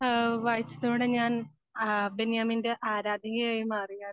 ഏഹ് വായിച്ചതോടെ ഞാൻ അഹ് ബെന്യാമിൻ്റെ ആരാധകനായി മാറിയായിരുന്നു